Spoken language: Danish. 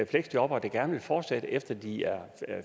fleksjobbere der gerne vil fortsætte efter at de er